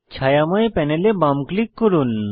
ছায়াময় প্যানেলে বাম ক্লিক করুন